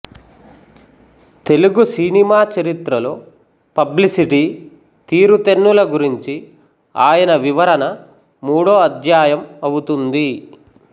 Telugu cinema చరిత్రలో publicity తీరుతెన్నుల గురించి ఆయన వివరణ మూడో అధ్యాయం అవుతుంది